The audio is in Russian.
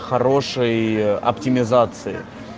хорошей оптимизацией